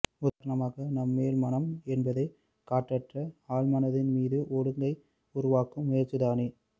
உதாரணமாக நம் மேல்மனம் என்பதே கட்டற்ற ஆழ்மனத்தின் மீது ஒழுங்க்கை உருவாக்கும் முயற்சிதானே